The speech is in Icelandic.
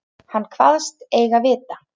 Hann kvaðst eigi vita.